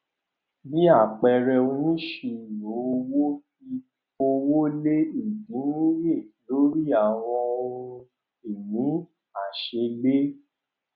bí àpẹẹrẹ onisiroowo fi owó lé ìdínníye lórí àwọn ohun-ìní aṣeégbé